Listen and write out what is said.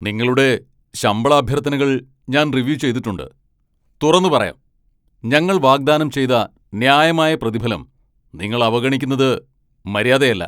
നിങ്ങളുടെ ശമ്പള അഭ്യർത്ഥനകൾ ഞാൻ റിവ്യൂ ചെയ്തിട്ടുണ്ട്, തുറന്നുപറയാം, ഞങ്ങൾ വാഗ്ദാനം ചെയ്ത ന്യായമായ പ്രതിഫലം നിങ്ങൾ അവഗണിക്കുന്നത് മര്യാദയല്ല.